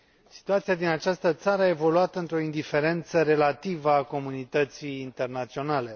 Situația din această țară a evoluat într o indiferență relativă a comunității internaționale.